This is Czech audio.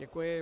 Děkuji.